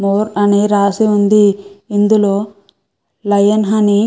more అని రాసి ఉంది ఇందులో లయన్ హనీ --